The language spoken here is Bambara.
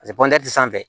pɔnte sanfɛ